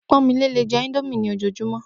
Pó̩nmilé lè je̩ íńdómì ní òjoojúmó